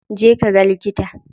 Je ka ga likita.